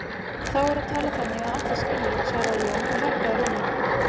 Þá er að tala þannig að allir skilji, svaraði Jón og hækkaði róminn.